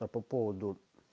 а по поводу